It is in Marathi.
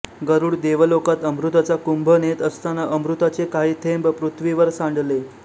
गरुड देवलोकात अमृताचा कुंभ नेत असताना अमृताचे काही थेंब पृथ्वीवर सांडले